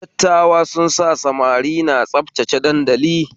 Dattawa sun sa samari na tsabtace dandali